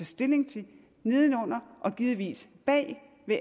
stilling til neden under og givetvis bag